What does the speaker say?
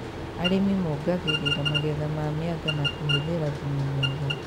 Arĩmi mongagĩrĩra magetha ma mĩanga na kũhũthĩra thumu mwega